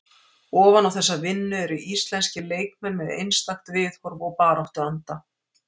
Ofan á þessa vinnu eru íslenskir leikmenn með einstakt viðhorf og baráttuanda.